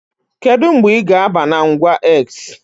Kedu mgbe ị ga-aba na ngwa X?